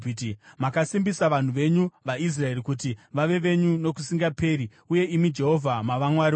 Makasimbisa vanhu venyu vaIsraeri kuti vave venyu nokusingaperi, uye imi, Jehovha, mava Mwari wavo.